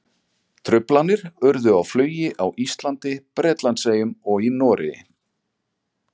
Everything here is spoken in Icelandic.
Truflanir urðu á flugi á Íslandi, Bretlandseyjum og í Noregi.